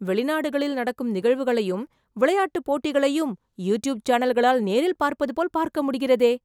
வெளிநாடுகளில் நடக்கும் நிகழ்வுகளையும், விளையாட்டு போட்டிகளையும், யூட்யூப் சேனல்களால் நேரில் பார்ப்பதுபோல் பார்க்க முடிகிறதே...